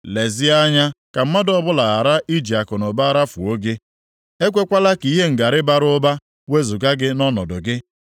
Lezie anya ka mmadụ ọbụla ghara iji akụnụba rafuo gị; ekwekwala ka ihe ngarị bara ụba wezuga gị nʼọnọdụ gị.